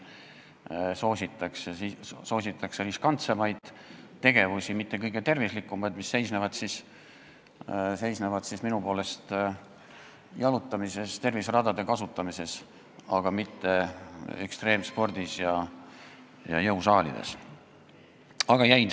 Soositakse riskantsemaid tegevusi, mitte kõige tervislikumaid, mis on minu meelest jalutamine ja terviseradade kasutamine, aga mitte ekstreemsport ja jõusaalis käimine.